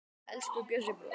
Elsku Bjössi bróðir.